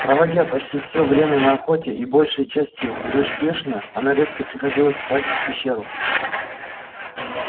проводя почти все время на охоте и большей частью безуспешно она редко приходила спать в пещеру